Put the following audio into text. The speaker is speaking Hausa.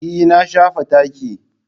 Eh na shafa taki.